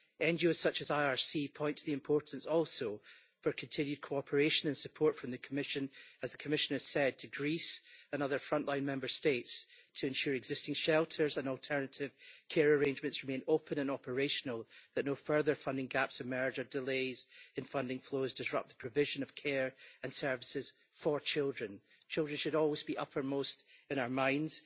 NGOs such as RRC point to the importance also for continued cooperation and support from the Commission, as the Commissioner said to Greece and other front line Member States, to ensure existing shelters and alternative care arrangements remain open and operational, that no further funding gaps emerge or delays in funding flows disrupt the provision of care and services for children. Children should always be uppermost in our minds.